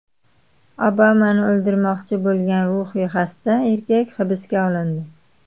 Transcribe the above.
Obamani o‘ldirmoqchi bo‘lgan ruhiy xasta erkak hibsga olindi.